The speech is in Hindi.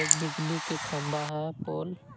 एक बिजली के खंबा है पोल --